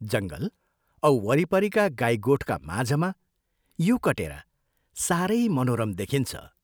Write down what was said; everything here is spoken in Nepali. जंगल औ वरिपरिका गाई गोठका माझमा यो कटेरा सारै मनोरम देखिन्छ।